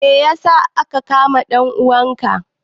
Me ya sa aka kama dan uwanka?